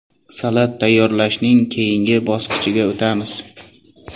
Salat tayyorlashning keyingi bosqichiga o‘tamiz.